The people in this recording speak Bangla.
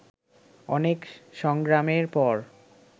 অনেক সংগ্রামের পর